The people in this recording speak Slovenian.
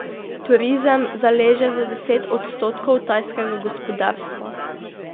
Turizem zaleže za deset odstotkov tajskega gospodarstva.